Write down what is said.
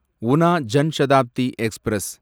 Una Jan Shatabdi express